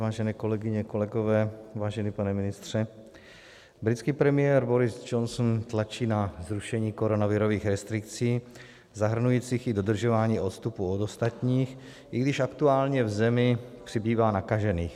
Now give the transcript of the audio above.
Vážené kolegyně, kolegové, vážený pane ministře, britský premiér Boris Johnson tlačí na zrušení koronavirových restrikcí zahrnujících i dodržování odstupu od ostatních, i když aktuálně v zemi přibývá nakažených.